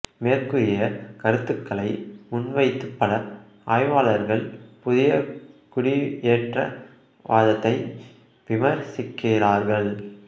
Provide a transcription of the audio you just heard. மேற்கூறிய கருத்துகளை முன்வைத்து பல ஆய்வாளர்கள் புதிய குடியேற்றவாதத்தை விமர்சிக்கிறார்கள்